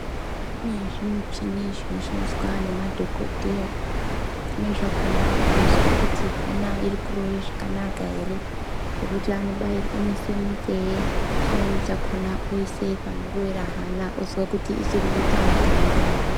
Kune zvi muchini zvino shandiswa ne madhokodheya zvimweni zvakona zvinozwe kuti hana iri kurove zvakanaka ere zvekuti anobai ise munzeve chimweni chakona oise pano rovera hana ozwa kuti chiri kuita zvakanaka ere.